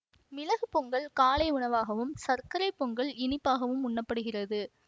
மிளகு பொங்கல் காலை உணவாகவும் சர்க்கரை பொங்கல் இனிப்பாகவும் உண்ணப்படுகிறது